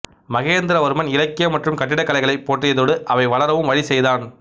மகேந்திரவர்மன் இலக்கியம் மற்றும் கட்டிடக்கலைகளைப் போற்றியதோடு அவை வளரவும் வழி செய்தான்